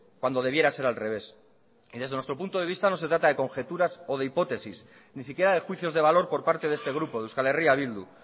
cuando debiera ser al revés y desde nuestro punto de vista no se trata de conjeturas o de hipótesis ni siquiera de juicios de valor por parte de este grupo de euskal herria bildu